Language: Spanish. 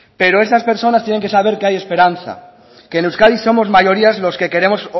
pero esas personas tienen que saber que hay esperanza que en euskadi somos mayoría los que queremos